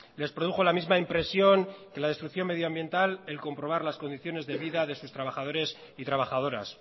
les produjo la misma impresión que la destrucción medioambiental el comprobar las condiciones de vida de sus trabajadores y trabajadoras